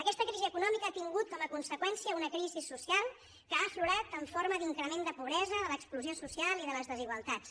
aquesta crisi econòmica ha tingut com a conseqüència una crisi social que ha aflorat en forma d’increment de pobresa de l’exclusió social i de les desigualtats